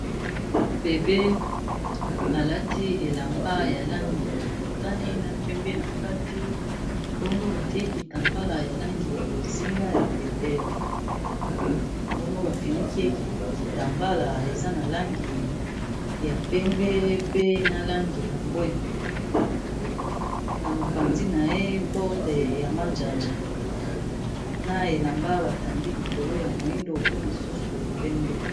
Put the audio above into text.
Bebe alati elamba ya langi ya motani na pembe na kati, bongo batiekitambala ya langi ya bozinga ya pete, mbango bafiniki kitambala eza na langi ya pembe pe na langi ya mbwe, na mopandi na ye porte ya manjanja na elamba batandi likolo ya moindo pe mosusu opembe